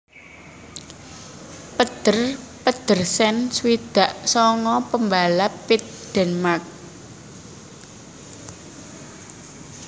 Peder Pedersen swidak sanga pambalap pit Dènmark